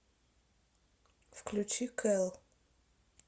включи кэлл